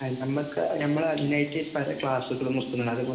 നമ്മക്ക് നമ്മള്‍ അതിനായിട്ട്‌ വേറെ ക്ലാസ്സുകള്‍ വയ്ക്കുന്നുണ്ട്‌. അത്